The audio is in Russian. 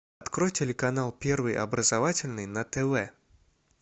открой телеканал первый образовательный на тв